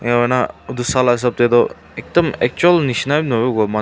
nona etu sala hisab te tu ekdum achui misna noi bu manu tu.